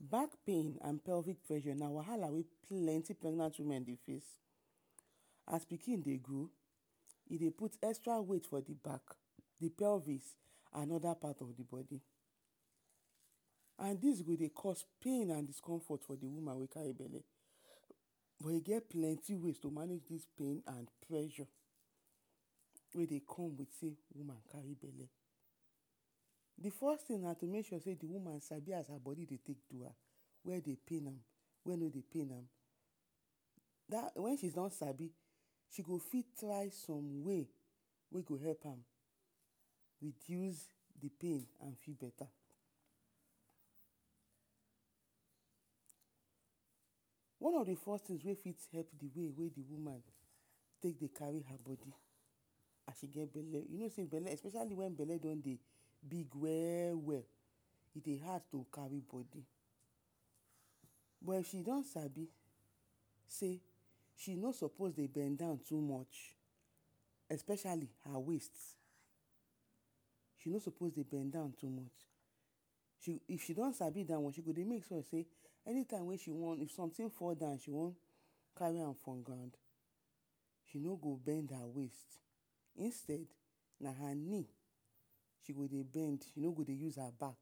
Bak pain and pelvic pressure na wahala wey plenti pregnant women dey face. As pikin dey grow, e dey put extra weight for the bak, the pelvis and oda part of the bak and dis go dey cause pain and discomfort for the woman wey kari bele. But e get plenty ways to manage dis pain and pressure wey dey come with sey woman kari bele. The first tin na for the woman to sabi as her bodi dey take do am, where dey pain am, where no dey pain am, wen she don sabi, she go fit try som way wey go help am reduce the pain and fiva beta. One of the first tin wey dey help the woman the way wey she dey kari her bodi as e get bele. You no sey bele don dey big we-we, e dey hard to kari bodi but if she don sabi sey she no sopos to dey bend down too much, especiali her waist, she no sopos dey bend down too much, if she don sabi da one, she go dey make sure sey anytime wey she wan, if somtin fall down she wan kari am for ground, she no bend her waist, instead, na her neel she go dey bend she no go dey use her bak,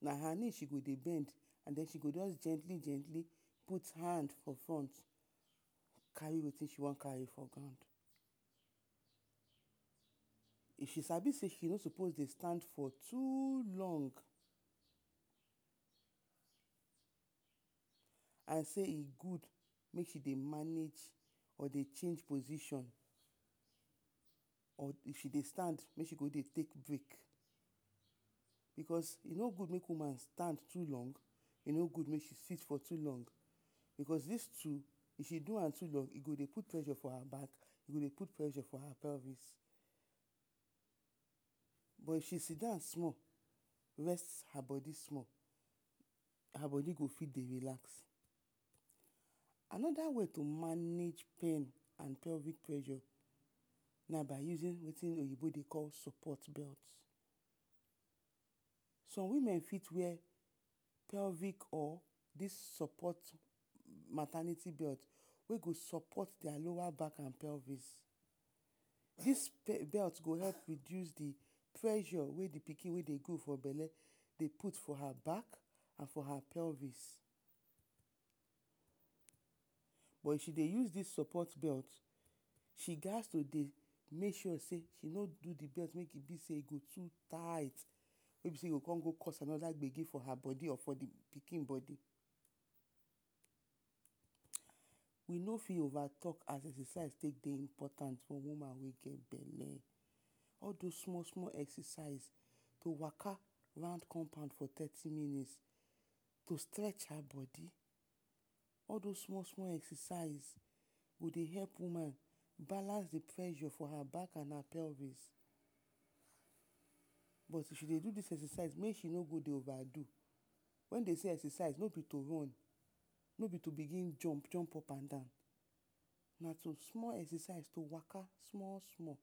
na her neel she go dey bend and sh go just gentli-gentli put hand for front kari wetin she wan kari for ground. If she sabi sey she no sopos stand for too long, and sey e gud make she dey manaj or dey change position or if she dey stand, make she for dey take brek. Because e no gud make woman stand too long, e no gud make she sit too long. Because dis two if she do am too long, e go dey put pressure for her bag, e go dey put pressure for her pelvis. But if she sidan small, rest her bodi small, her bodi go dfit dey relax. Anoda way to manage pain and pelvic pressure na by usin wetin oyibo dey call sopot belt. Som women fit wear pelvic or sopot maternity belt wey go sopot dia lowa bak and pelvis. Dis belt go help reduce the pressure wey dey for bele, dey put for her bak, her pelvis. But if she dey use dis sopot belt, she ghas to dey make sure sey, no do the belt wey be sey e go too tight, wey be sey you go con go cause anoda gbege for her bodi or the pikin bodi. We no fit ova talk as exercise wey dey important for woman bodi wey get bele. All dis small-small exercise to waka round compound for thirty minutes, to stretch her bodi, all dos small-small exercise go dey help woman balance the pressure for her bak and pelvis but if she dey do dis exercise, make she no dey ova do, wen dey sey exercise no be to run, no be to bigin jump-jump up and down. Na to small exercise to waka small-small,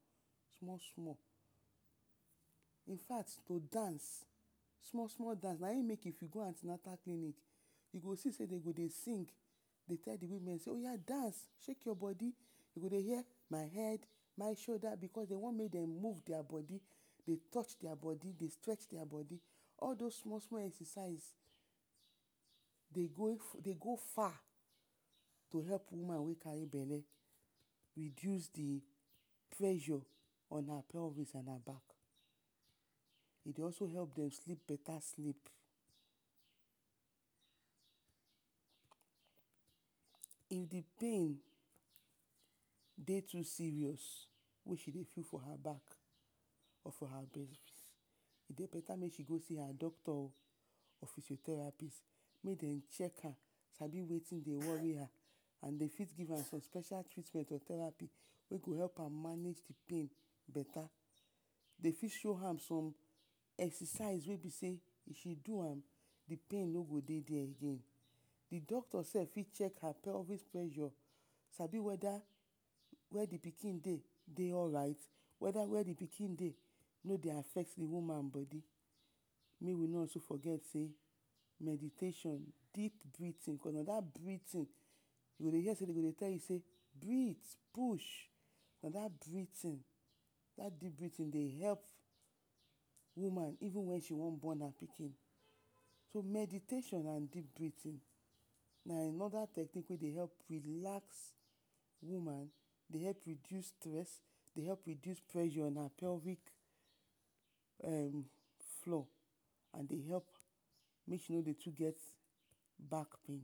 small-small. Infact to dance, small-small dance, na in make if you go anti-natal clinic, you go see sey de go dey sing, dey tell the women oya dance, shek your bodi, you go dey her; my head, my shoda because den want mey dem move dia bodi, dey touch dia bodi, dey stretch dia bodi, all dos small-small exercise dey go far, dey help woman wey kari bele reduce the pressure on her pelvis and her bak. E dey also help dem sleep beta sleep. If the pain dey too serious, wey she dey feel for her bak or her bele, e dey beta make she go see her doctor o, or physiotherapist make dem chek am sabi wetin dey wori am and dem fit give am some special treatment wey go help her manage the pain beta. De fit show am som exercise wey be sey, if she do am, the pain no go dey dia again, the doctor sef fit chek her pelvic pressure, sabi weda where the pikin dey dey alright, weda where the pikin dey no dey affect the woman bodi. Mey we no also forget sey meditation na brithin na dat brithin you go hear de go dey tell you sey; brithhhh, pushhhhhhh, na dat brithin dey help woman even wen she wan bon her pikin. So meditation and deep brethin na anoda tecniq wey dey help relax woman, dey dey help reduce stress, dey help reduce pressure na pelvic floor and dey help and dey help make she no dey too get bak pain